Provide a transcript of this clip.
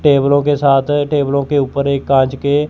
टेबलों के साथ टेबलों के ऊपर एक कांच के--